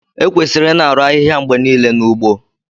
Ekwesịrị ịna-arụ ahịhịa mgbe niile n'ugbo